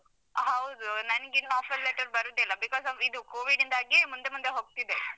ಹೌದು ನಂಗೆ ಇನ್ನು offer letter ಬರುದೇ ಇಲ್ಲ. because ಅವ್ರು ಇದು covid ಯಿಂದಾಗಿ ಮುಂದೆ ಮುಂದೆ ಹೋಗ್ತಿದೆ.